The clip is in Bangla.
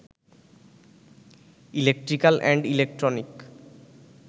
electrical and electronic